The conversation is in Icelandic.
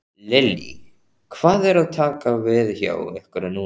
Lillý: Hvað er að taka við hjá ykkur núna?